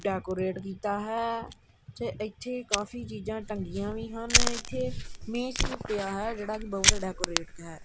Decorate ਕੀਤਾ ਹੈ ਤੇ ਇੱਥੇ ਕਾਫੀ ਚੀਜਾਂ ਟੰਗੀਆਂ ਵੀ ਹਨ ਇੱਥੇ ਮੇਜ ਵੀ ਪਿਆ ਹੈ ਜਿਹੜਾ ਕੀ ਬਹੁਤ ਡੇਕੋਰੇਟੇਡ ਹੈ।